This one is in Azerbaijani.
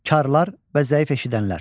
Karlar və zəif eşidənlər.